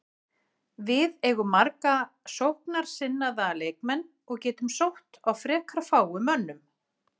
Við eigum marga sóknarsinnaða leikmenn og getum sótt á frekar fáum mönnum.